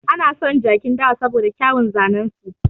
Ana son jakin dawa saboda kyauwun zanen su.